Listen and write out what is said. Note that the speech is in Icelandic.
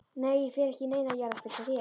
Nei ég fer ekki í neina jarðarför hjá þér.